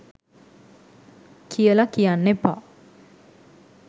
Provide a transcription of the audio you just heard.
කියල කියන්න එපා.